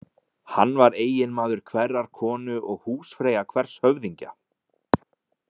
Hann var eiginmaður hverrar konu og húsfreyja hvers höfðingja.